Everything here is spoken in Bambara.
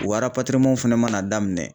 Wa fɛnɛ mana daminɛ.